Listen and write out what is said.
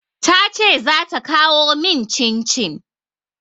Ta ce za ta kawo min cin-cin.